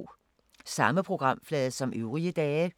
Samme programflade som øvrige dage